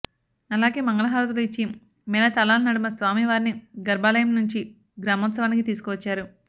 అలాగే మంగళ హారతులు ఇచ్చి మేళతాళాల నడుమ స్వామి వారిని గర్భాలయం నుంచి గ్రామోత్సవానికి తీసుకు వచ్చారు